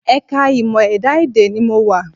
Ẹ̀ka ìmọ̀ ẹ̀dá-èdè ni mo wà